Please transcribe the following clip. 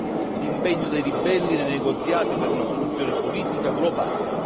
tre, l'impegno dei ribelli nei negoziati per una soluzione politica globale.